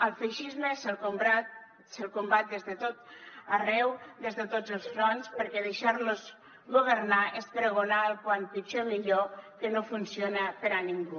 al feixisme se’l combat des de tot arreu des de tots els fronts perquè deixar los governar és pregonar el com pitjor millor que no funciona per a ningú